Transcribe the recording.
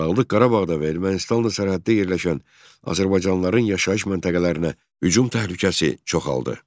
Dağlıq Qarabağda və Ermənistanla sərhəddə yerləşən azərbaycanlıların yaşayış məntəqələrinə hücum təhlükəsi çoxaldı.